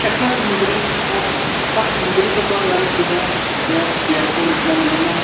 chakka samgni chakka sambrigipa garikoba ia biapo nikna man·enga.